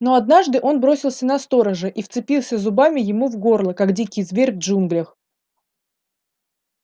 но однажды он бросился на сторожа и вцепился зубами ему в горло как дикий зверь в джунглях